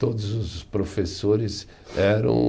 Todos os professores eram